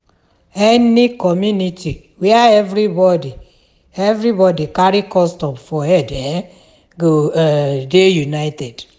Any community where everybodi everybodi carry custom for head um go um dey united.